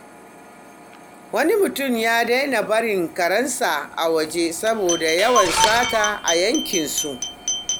Wani mutum ya daina barin karensa waje saboda yawan sata a yankinsu.